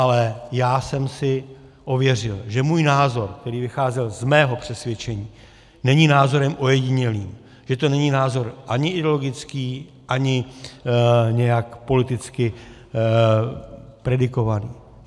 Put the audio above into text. Ale já jsem si ověřil, že můj názor, který vycházel z mého přesvědčení, není názorem ojedinělým, že to není názor ani ideologický, ani nějak politicky predikovaný.